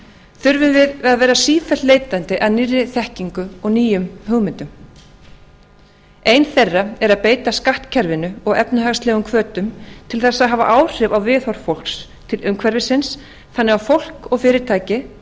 þurfum við að vera sífellt leitandi að nýrri þekkingu og nýjum hugmyndum ein þeirra er að beita skattkerfinu og efnahagslegum hvötum til þess að hafa áhrif á viðhorf fólks til umhverfisins þannig að fólk og fyrirtæki